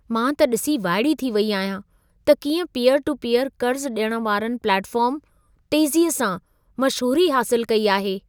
मां त ॾिसी वाइड़ी थी वई आहियां त कीअं पीयर-टू-पीयर क़र्ज़ु ॾियण वारनि प्लेटफार्म तेज़ीअ सां मशहूरी हासिल कई आहे।